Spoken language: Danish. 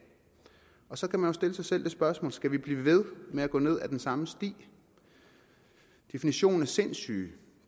så kan man jo stille sig selv det spørgsmål skal vi blive ved med at gå ned ad den samme sti definitionen på sindssyge